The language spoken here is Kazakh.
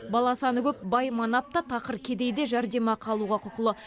бала саны көп бай манап та тақыр кедей де жәрдемақы алуға құқылы